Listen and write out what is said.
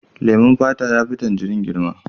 Leman fata ya fi tangirin girma.